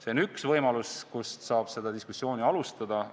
See on üks võimalusi, kust seda diskussiooni alustada.